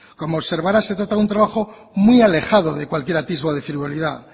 como observará se trata de un trabajo muy alejado de cualquier atisbo de frivolidad